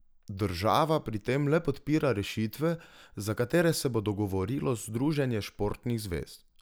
Država pri tem le podpira rešitve, za katere se bo dogovorilo združenje športnih zvez.